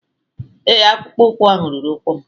Ee, akpụkpọ ụkwụ ahụ ruru ụkwụ m